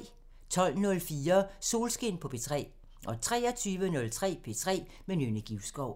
12:04: Solskin på P3 23:03: P3 med Nynne Givskov